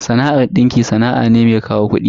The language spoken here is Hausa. Sana'ar dinki sana'a ce mai kawo kudi.